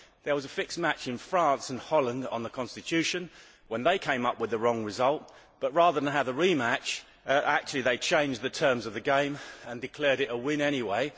There was a fixed match in France and Holland on the Constitution when they came up with the wrong result, but rather than have the re match, actually they changed the terms of the game and declared it a win anyway.